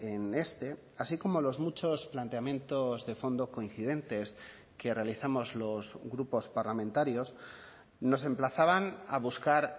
en este así como los muchos planteamientos de fondo coincidentes que realizamos los grupos parlamentarios nos emplazaban a buscar